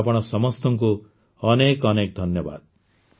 ଆପଣ ସମସ୍ତଙ୍କୁ ଅନେକ ଅନେକ ଧନ୍ୟବାଦ